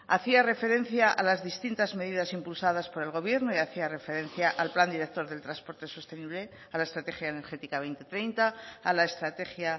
hacía referencia a las distintas medidas impulsadas por el gobierno y hacía referencia al plan director del transporte sostenible a la estrategia energética dos mil treinta a la estrategia